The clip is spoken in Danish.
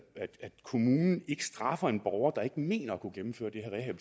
kommunen ikke straffer en borger der ikke mener at kunne gennemføre det her